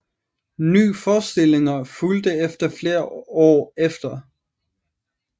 Nye forestillinger fulgte efter flere år efter